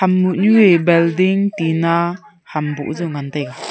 building tina ham boh jaw ngan taiga.